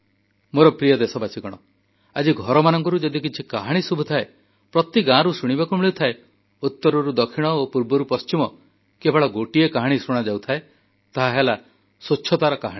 ମୋର ପ୍ରିୟ ଦେଶବାସୀ ଆଜି ଘରମାନଙ୍କରୁ ଯଦି କିଛି କାହାଣୀ ଶୁଭୁଥାଏ ପ୍ରତି ଗାଁରୁ ଶୁଣିବାକୁ ମିଳୁଥାଏ ଉତ୍ତରରୁ ଦକ୍ଷିଣ ଓ ପୂର୍ବରୁ ପଶ୍ଚିମ କେବଳ ଗୋଟିଏ କାହାଣୀ ଶୁଣିବାକୁ ମିଳିଥାଏ ତାହାହେଲା ସ୍ୱଚ୍ଛତାର କାହାଣୀ